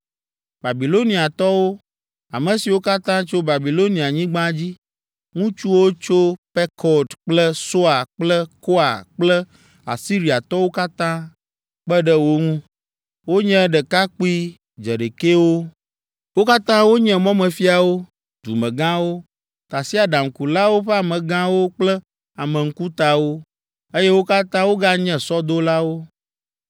Babiloniatɔwo, ame siwo katã tso Babilonianyigba dzi, ŋutsuwo tso Pekod kple Soa kple Koa kple Asiriatɔwo katã, kpe ɖe wo ŋu. Wonye ɖekakpui dzeɖekɛwo. Wo katã wonye mɔmefiawo, dumegãwo, tasiaɖamkulawo ƒe amegãwo kple ame ŋkutawo, eye wo katã woganye sɔdolawo.